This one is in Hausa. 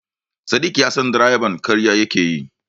Sadik ya san direban ƙarya yake yi.